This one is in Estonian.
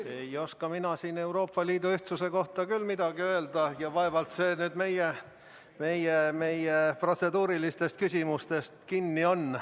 Ei oska mina siin Euroopa Liidu ühtsuse kohta küll midagi öelda ja vaevalt see meie protseduurilistes küsimustes kinni on.